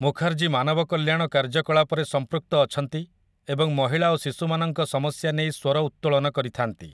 ମୁଖାର୍ଜୀ ମାନବକଲ୍ୟାଣ କାର୍ଯ୍ୟକଳାପରେ ସମ୍ପୃକ୍ତ ଅଛନ୍ତି ଏବଂ ମହିଳା ଓ ଶିଶୁମାନଙ୍କ ସମସ୍ୟା ନେଇ ସ୍ୱର ଉତ୍ତୋଳନ କରିଥାନ୍ତି ।